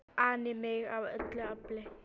an í mig af öllu afli.